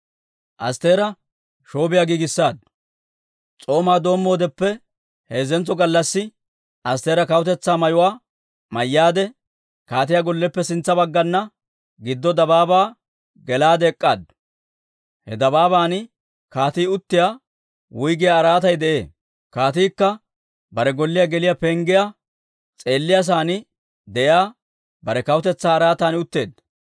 S'oomaa doommoodeppe heezzentso gallassi Astteera kawutetsaa mayuwaa mayyaade, kaatiyaa golleppe sintsa baggana giddo dabaabaa gelaade ek'k'aaddu. He dabaaban kaatii uttiyaa wuyggiyaa araatay de'ee. Kaatiikka bare golliyaa geliyaa penggiyaa s'eeliyaa saan de'iyaa, bare kawutetsaa araatan utteedda.